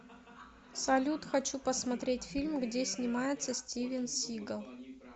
салют хочу посмотреть фильм где снимается стивен сигал